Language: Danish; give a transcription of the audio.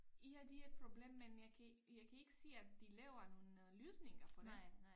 Ja det er et problem men jeg kan jeg kan ikke se at de laver nogen øh løsninger på det